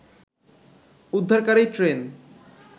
উদ্ধারকারী ট্রেন